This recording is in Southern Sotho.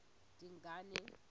dingane